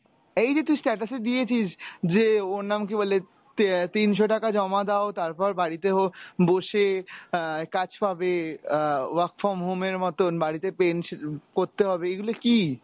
এই যে তুই status এ দিয়েছিস যে ওর নাম কী বলে তে~ তিনশ টাকা জমা দাও তারপর বাড়িতে হো বসে আহ কাজ পাবে আহ work from home এর মতন বাড়িতে করতে হবে এইগুলা কী?